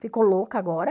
Ficou louca agora?